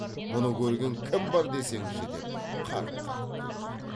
мұны көрген кім бар десеңші деп қарқ қарқ күлді